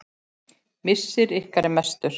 Missir ykkar er mestur.